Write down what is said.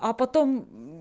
а потом